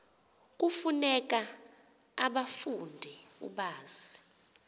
kufuneka ubafunde ubazi